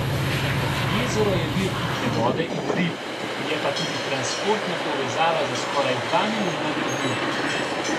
Jezero je vir pitne vode in rib, je pa tudi transportna povezava za skoraj dva milijona ljudi.